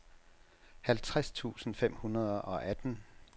halvtreds tusind fem hundrede og atten